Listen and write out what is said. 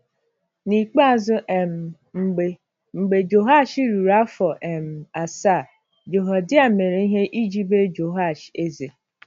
N'ikpeazụ um, mgbe, mgbe Jehoash ruru afọ um asaa, Jehoiada mere ihe iji mee Jehoash eze.